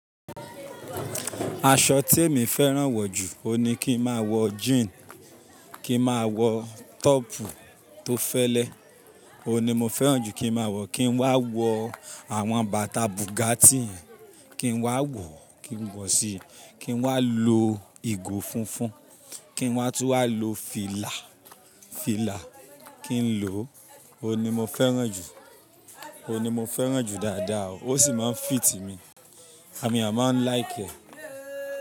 Aṣọ tí èmi fẹ́ràn wọ̀ jù, òní kí n máa wọ jean, kí n máa wọ tọ́pù tó fẹ́lẹ́. Ó ní mo fẹ́ràn jù kí n máa wọ, kí n wá wọ àwọn bàtà Bugatti, kí n wá wọ, kí n wọ̀ sí i, kí n wá lo ìgò funfun, kí n wá tún wà lo fìlà, fìlà kí n lò. Ó ní mo fẹ́ràn jù, ó ní mo fẹ́ràn jù dáadáa o, ó sì máa ń fit mi. A min àá máa ń like ẹ̀